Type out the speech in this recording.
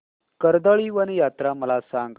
कर्दळीवन यात्रा मला सांग